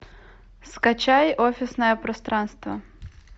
скачай офисное пространство